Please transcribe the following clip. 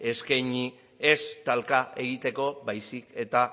eskaini ez talka egiteko baizik eta